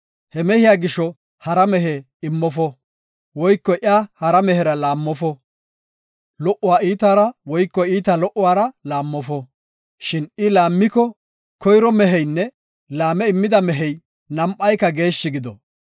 He mehiya gisho hara mehe immofo; woyko iya hara mehera laammofo. Lo77uwa iitaara woyko iitaa lo77uwara laammofo; shin I laammiko, koyro meheynne laame immida mehey nam7ayka geeshshi gido.